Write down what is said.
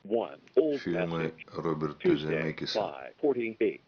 фильмы роберта земекиса